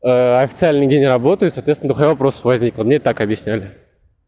официальный день работаю соответственно дохуя вопросов возникло мне так объясняли